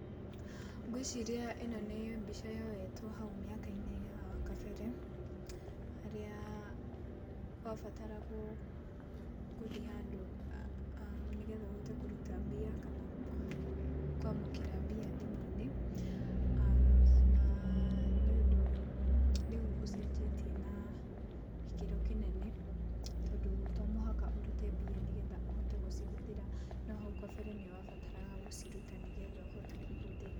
Ngwĩciria ĩno nĩ mbica yoetwo hau mĩaka-inĩ ya kabere, harĩa wabataragwo gũthiĩ handũ, nĩgetha ũhote kũruta mbia na kwamũkĩra mbia thimũ-inĩ, na nĩ ũndũ rĩu ũcenjetie na gĩkĩro kĩnene, tondũ to mũhaka ũrute mbia nĩgetha ũhote gũcihũthĩra, no hau gabere nĩ wabataraga gũciruta, nĩgetha ũhote kũhũthĩra.